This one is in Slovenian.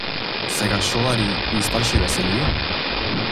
Se ga šolarji in starši veselijo?